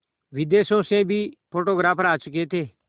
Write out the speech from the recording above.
विदेशों से भी फोटोग्राफर आ चुके थे